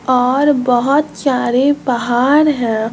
और बोहोत सारे पहाड़ हैं।